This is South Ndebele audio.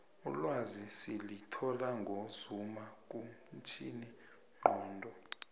ulwazi silithola ngozuma kumtjhini nqondo